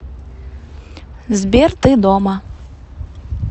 сбер ты дома